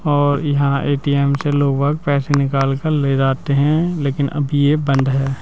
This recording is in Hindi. और इहां ए_टी_एम से लोगा पैसे निकाल कर ले जाते हैं लेकिन अभी ये बंद है।